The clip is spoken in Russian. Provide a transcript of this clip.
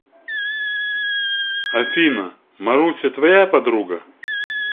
афина маруся твоя подруга